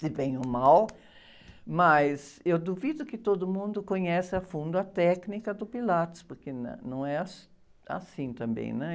se bem ou mal, mas eu duvido que todo mundo conhece a fundo a técnica do Pilates, porque não é assim também, né?